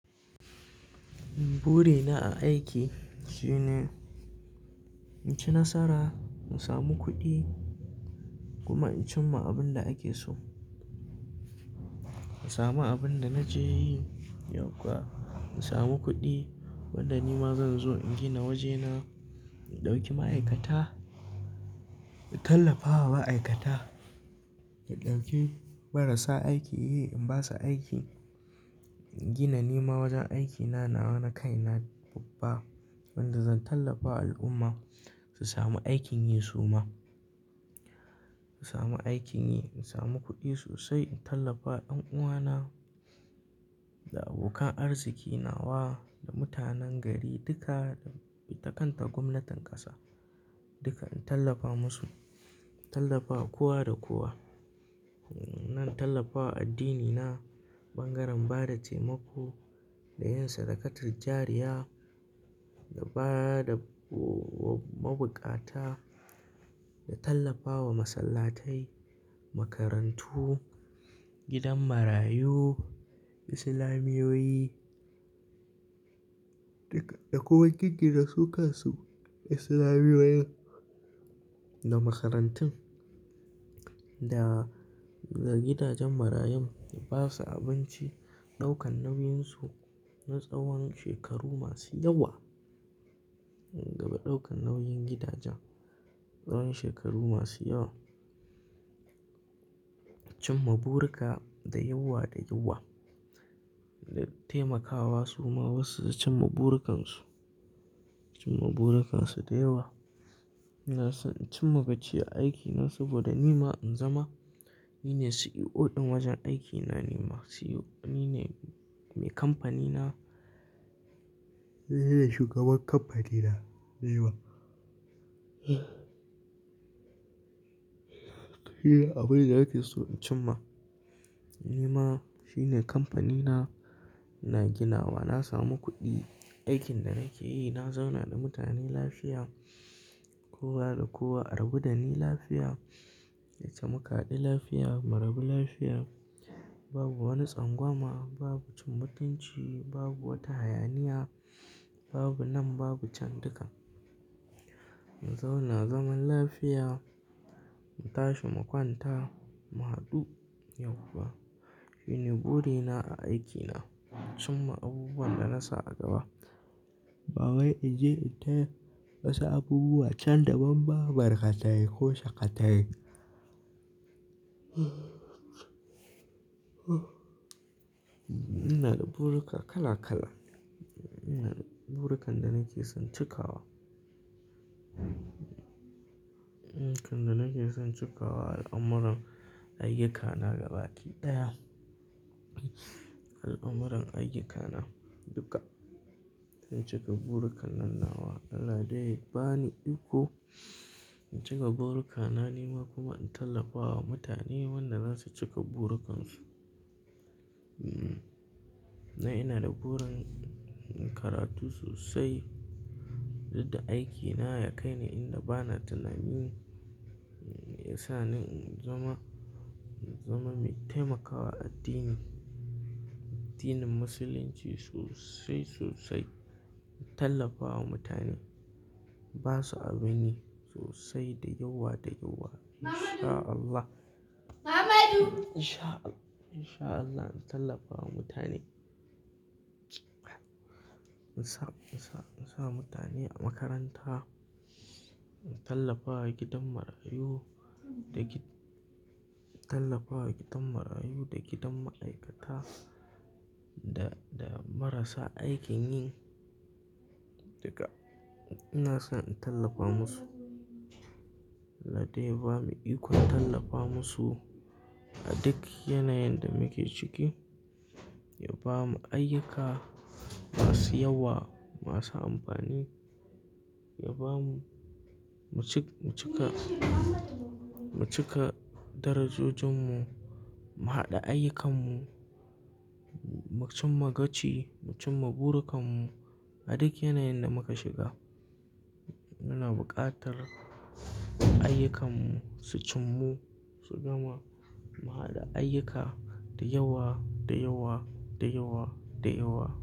Buri na a aiki shine in ci nasara, in samu kuɗi kuma in cimma abin da ake so. In samu abin da naje yi, yau kuwa in samu kuɗi wanda nima zan zo in gina wajena, in ɗauki ma'aikata, in tallafawa ma'aikata, in ɗauki marasa aiki yi in basu aiki, gina nima wajen aikina nawa na kaina babba wanda zan tallafa al'umma su samu aikin yi suma. Su samu aikin yi, in samu kuɗi sosai, in tallafa ƴan uwana da abokan arziki nawa da mutanen gari duka da ita kan ta gwamnatin ƙasa duka in tallafa musu, in tallafa kowa da kowa. Nan tallafa addini na bangaren bada taimako da yin sadakatil jariya da bada mabukata, da tallafawa masallatai, makarantu, gidan marayu, islamiyoyi duka da kowane giggina sukansu islamiyoyin da makarantun da, da gidajen marayun, in basu abinci, ɗaukan nauyinsu na tsawon shekaru masu yawa. Gaba ɗaukan nauyin gidajen, tsawon shekaru masu yawa. Cimma burika da yawa da yawa, da taimakawa suma wasu su cimma burukansu, cimma burukansu da yawa. Ina son in cimma gaci a aiki na saboda nima in zama ni ne CEO ɗin wajen aikina, ni ma CEO, ni ne mai kamfanina, ni ne shugaban kamfanina dayawa. Iya, abin da nake so in cimma ni ma shine kamfanina na ginawa, na samu kuɗi aikin da nake yi, na zauna da mutane lafiya, kowa da kowa, argu da ni lafiya, da yacce mukahaɗu lafiya, mu rabu lafiya. Babu wani tsangwama, babu cin mutunci, babu wata hayaniya, babu nan babu can duka. In zauna zaman lafiya, mu tashi mu kwanta mu haɗu yau kuwa. Shine buri na a aikina, cimma abubuwan da na sa a gaba. Ba wai in je in ta wasu abubuwa can da ban ba, barka tay ko sakatai tay. Ina da buruka kala kala, ina da burukan da nake son cikawa. Burukan da nake son cikawa al'amuran ayyukana gaba ɗaya. Al'amuran ayyukana duka, in cika burukan nan nawa. Allah dai ya ba ni iko in cika burukana nima kuma in tallafa wa mutane wanda zasu cika burukansu. Na ina da burin in karatu sosai, duk da aikina ya kai ni inda bana, tuna ni, ya sa ni in zama, in zama mai taimakawa addini, addinin musulunci sosai, sosai. In tallafa wa mutane, basu abinyi sosai da yawa da yawa. In sha Allah In sha, in sha Allah in tallafa wa mutane. In sa, in sa, in sa mutane a makaranta, in tallafa wa gidan marayu da gi-- tallafa wa gidan marayu da gidan ma'aikata da, da marasa aikin yi duka. Ina son in tallafa musu. Allah dai ya ba mu iko in tallafa musu a duk yanayin da muke ciki, ya ba mu ayyuka masu yawa, masu amfani. Ya ba mu, mu cik, mu cika, mu cika darajojinmu, mu haɗa ayyukanmu, mu cimma gaci, mu cimma burukanmu a duk yanayin da muka shiga. Yana buƙatar ayyukanmu su cimmu, su gama, mu haɗa ayyuka da yawa, da yawa, da yawa, da yawa.